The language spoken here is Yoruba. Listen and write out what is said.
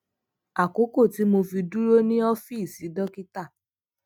àkókò tí mo fi dúró ní ófíìsì dókítà